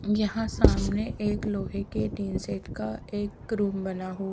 यहाँ सामने एक लोहे के टीन सेट का एक क्रोम बना हुआ--